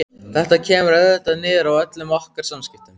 Þetta kemur auðvitað niður á öllum okkar samskiptum.